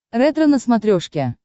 ретро на смотрешке